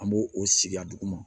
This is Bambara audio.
An b'o o sigi a duguma